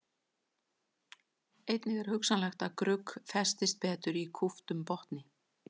Einnig er hugsanlegt að grugg festist betur í kúptum botni.